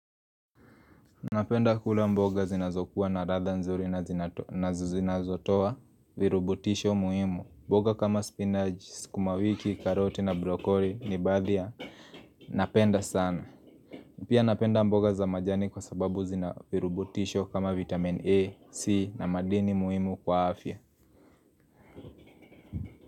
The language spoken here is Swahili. Napenda kula mboga zinazokuwa na radha nzuri na zinazotoa virubutisho muhimu mboga kama spinachi, skumawiki, karoti na brokori ni baadhi napenda sana Pia napenda mboga za majani kwa sababu zina virubutisho kama vitamin A, C na madini muhimu kwa afya.